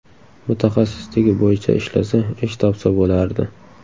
Mutaxassisligi bo‘yicha ishlasa, ish topsa bo‘lardi.